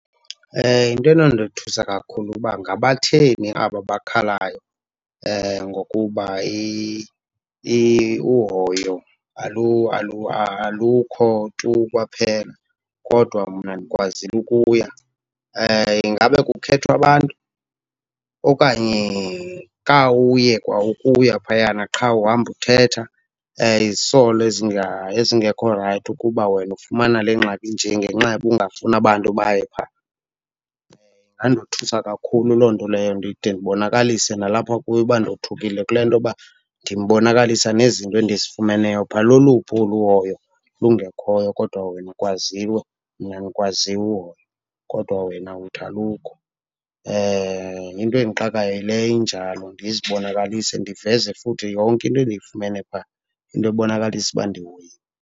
Into enondothusa kakhulu kuba ngabatheni aba bakhalayo ngokuba uhoyo alukho tu kwaphela kodwa mna ndikwazile ukuya. Ingaba kukhethwa abantu okanye kha uye kwa ukuya phayana qha uhamba uthetha izisolo ezingekho rayithi ukuba wena ufumana le ngxaki inje ngenxa yoba ungafuni abantu baye phaa? Ingandothusa kakhulu loo nto leyo ndide ndibonakalise nalapha kuye uba ndothukile kule nto yoba ndimbonakalisa nezinto endizifumeneyo phaa. Loluphi olu hoyo lungekhoyo kodwa wena ukwazile, mna ndikwazile ukuhoywa kodwa wena uthi alukho. Into endixakayo yileyo injalo. Ndizibonakalise ndiveze futhi yonke into endiyifumene phaa, into ebonakalisa uba ndihoyiwe.